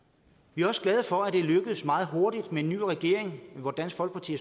vi er også glade for at det lykkedes meget hurtigt med en ny regering hvor dansk folkeparti